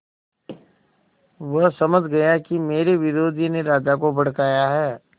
वह समझ गया कि मेरे विरोधियों ने राजा को भड़काया है